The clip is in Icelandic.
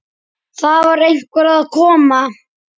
Það var einhver að koma!